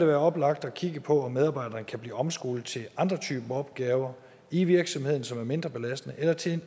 være oplagt at kigge på om medarbejderen kan blive omskolet til andre typer opgaver i virksomheder som er mindre belastende eller til